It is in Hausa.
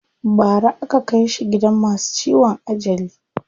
Bara aka kai shi gidan masu ciwon ajali.